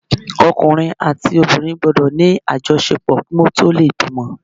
Ọkùnrin àti obìnrin gbọ́dọ̀ ní àjọṣepọ̀ kí wọn tó lè bímọ.